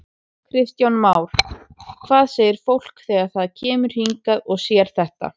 Kristján Már: Hvað segir fólk þegar það kemur hingað og sér þetta?